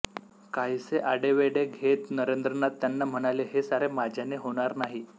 काहीसे आढेवेढे घेत नरेंद्रनाथ त्यांना म्हणाले हे सारे माझ्याने होणार नाही